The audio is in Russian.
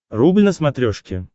рубль на смотрешке